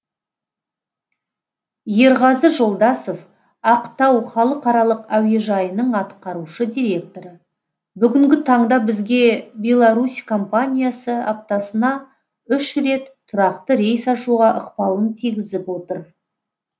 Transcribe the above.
ерғазы жолдасов ақтау халықаралық әуежайының атқарушы директоры бүгінгі таңда бізге беларусь компаниясы аптасына үш рет тұрақты рейс ашуға ықпалын тигізіп отыр